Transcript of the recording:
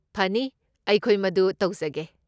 ꯐꯅꯤ, ꯑꯩꯈꯣꯏ ꯃꯗꯨ ꯇꯧꯖꯒꯦ꯫